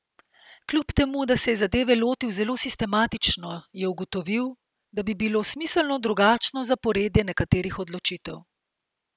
Kljub temu da se je zadeve lotil zelo sistematično, je ugotovil, da bi bilo smiselno drugačno zaporedje nekaterih odločitev.